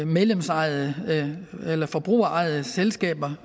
medlemsejede eller forbrugerejede selskaber